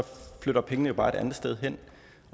flytter pengene jo bare et andet sted hen